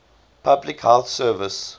public health service